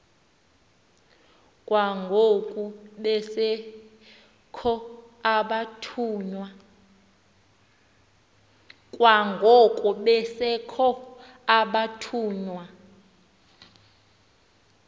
kwangoko besekho abathunywa